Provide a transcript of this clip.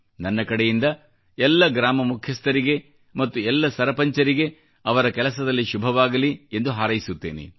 ನನ್ನ ಕಡೆಯಿಂದ ಎಲ್ಲ ಗ್ರಾಮ ಮುಖ್ಯಸ್ಥüರಿಗೆ ಮತ್ತು ಎಲ್ಲ ಸರಪಂಚರಿಗೆ ಅವರ ಕೆಲಸದಲ್ಲಿ ಶುಭವಾಗಲಿ ಎಂದು ಹಾರೈಸುತ್ತೇನೆ